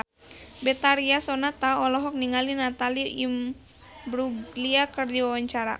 Betharia Sonata olohok ningali Natalie Imbruglia keur diwawancara